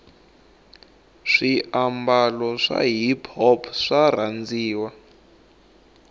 swi ababalo swa hiphop swarhandziwa